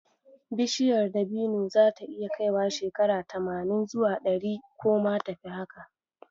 Bishiyar dabino zata iya kaiwa shekara tamanin zuwa ɗari, ko ma tafi haka.